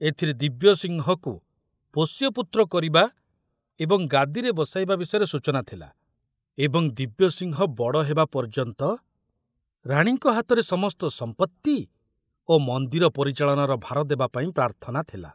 ଏଥିରେ ଦିବ୍ୟସିଂହକୁ ପୋଷ୍ୟପୁତ୍ର କରିବା ଏବଂ ଗାଦିରେ ବସାଇବା ବିଷୟରେ ସୂଚନା ଥିଲା ଏବଂ ଦିବ୍ୟସିଂହ ବଡ଼ ହେବା ପର୍ଯ୍ୟନ୍ତ ରାଣୀଙ୍କ ହାତରେ ସମସ୍ତ ସମ୍ପତ୍ତି ଓ ମନ୍ଦିର ପରିଚାଳନାର ଭାର ଦେବାପାଇଁ ପ୍ରାର୍ଥନା ଥିଲା।